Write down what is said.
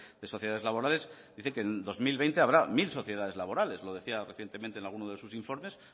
de sociedades laborales dice que en dos mil veinte habrá mil sociedades laborales lo decía recientemente en alguno de sus informes